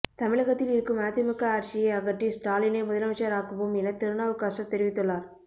தமிழகத்தில் இருக்கும் அதிமுக ஆட்சியை அகற்றி ஸ்டாலினை முதலமைச்சராக்குவோம் என திருநாவுக்கரசர் தெரிவித்துள்ளார்